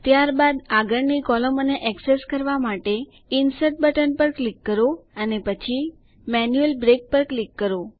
ત્યારબાદ આગળની કૉલમોને એક્સેસ કરવા માટે ઇન્સર્ટ બટન પર ક્લિક કરો અને પછી મેન્યુઅલ બ્રેક પર ક્લિક કરો